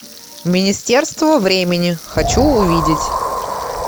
министерство времени хочу увидеть